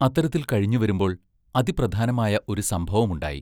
അത്തരത്തിൽ കഴിഞ്ഞു വരുമ്പോൾ, അതിപ്രധാനമായ ഒരു സംഭവമുണ്ടായി.